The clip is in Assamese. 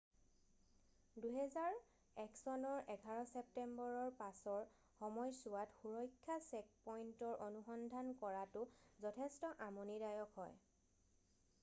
2001 চনৰ 11 চেপ্তেম্বৰৰ পাছৰ সময়ছোৱাত সুৰক্ষা চেকপইণ্টৰ অনুসন্ধান কৰাটো যথেষ্ট আমনিদায়ক হয়